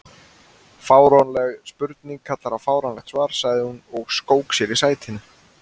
Fáránleg spurning kallar á fáránlegt svar sagði hún og skók sér í sætinu.